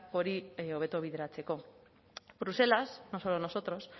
hori hobeto bideratzeko bruselas no solo nosotros